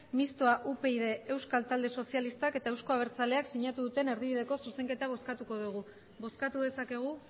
mistoa upyd euskal talde sozialistak eta euzko abertzaleak sinatu duten erdibideko zuzenketa bozkatuko dugu bozkatu dezakegu